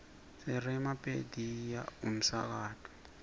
sireoma pediya umsakato